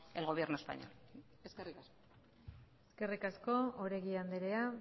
el gobierno español eskerrik asko eskerrik asko oregi andrea